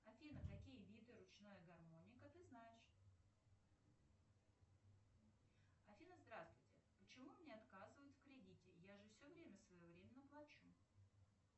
афина какие виды ручная гармоника ты знаешь афина здравствуйте почему мне отказывают в кредите я же все время своевременно плачу